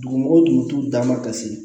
Dugumɔgɔw tun bɛ t'u danma ka se